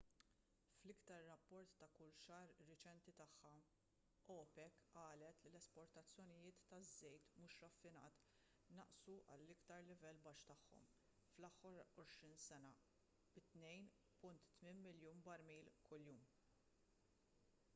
fl-iktar rapport ta’ kull xahar reċenti tagħha opec qalet li l-esportazzjonijiet ta’ żejt mhux raffinat naqsu għall-iktar livell baxx tagħhom fl-aħħar għoxrin sena b’2.8 miljun barmil kuljum